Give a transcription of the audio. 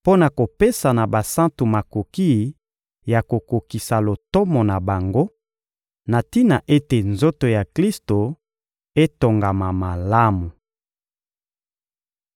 mpo na kopesa na basantu makoki ya kokokisa lotomo na bango, na tina ete nzoto ya Klisto etongama malamu.